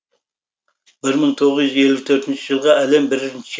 бір мың тоғыз жүз елу төртінші жылғы әлем бірінші